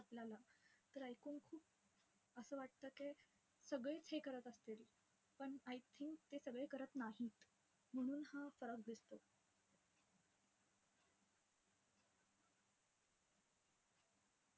आपल्याला. तर ऐकून खूप असं वाटतं की सगळेच हे करत असतील, पण I think ते सगळे करत नाहीत. म्हणून हा फरक दिसतो.